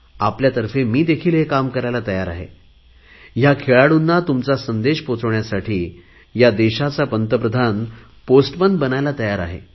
आपल्यातर्फे मी देखील हे काम करायला तयार आहे या खेळाडूंना तुमचा संदेश पोहचवण्यासाठी हा देशाचा पंतप्रधान पोस्टमन बनायला तयार आहे